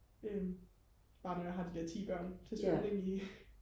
øhm bare når jeg har de der ti børn til svømning i